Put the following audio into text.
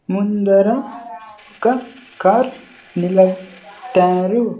ముందర ఒక కార్ నిల ట్టారు .